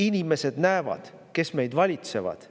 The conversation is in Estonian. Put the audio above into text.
Inimesed näevad, kes meid valitsevad.